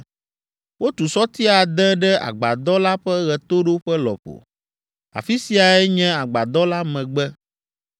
Wotu sɔti ade ɖe agbadɔ la ƒe ɣetoɖoƒe lɔƒo. Afi siae nye agbadɔ la megbe.